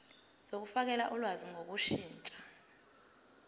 zokufakela ulwazi ngokushintsha